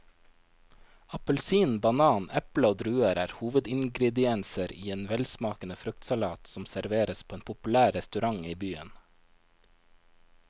Appelsin, banan, eple og druer er hovedingredienser i en velsmakende fruktsalat som serveres på en populær restaurant i byen.